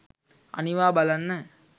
අනිවා බලන්න.